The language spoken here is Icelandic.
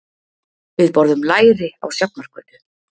Við borðum læri á Sjafnargötu.